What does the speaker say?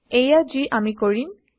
এইয়া যি আমি160কৰিম